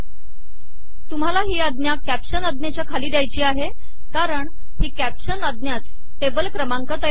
तुम्हाला ही आज्ञा कॅप्शन आज्ञेच्या खाली द्यायची आहे कारण ही कॅप्शन आज्ञाच टेबल क्रमांक तयार करते